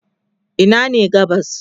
Ina ne gabas?